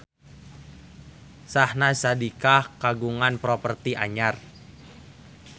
Syahnaz Sadiqah kagungan properti anyar